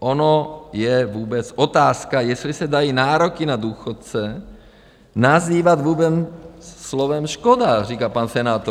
Ono je vůbec otázka, jestli se dají nároky na důchodce nazývat vůbec slovem škoda, říká pan senátor.